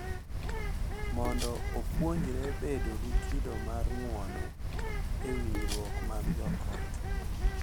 Mondo opuonjre bedo gi kido mar ng’uono e winjruok mag joot.